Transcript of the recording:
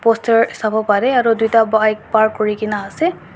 poster savo parey aru duita bike park kurina ase.